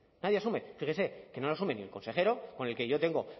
nadie asume fíjese que no lo asume ni el consejero con el que yo tengo